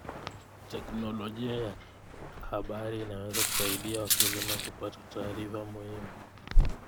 Teknolojia ya habari inaweza kusaidia wakulima kupata taarifa muhimu.